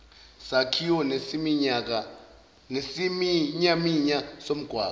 sakhiwo nesiminyaminya somgwaqo